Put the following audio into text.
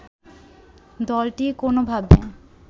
দলটি কোনোভাবে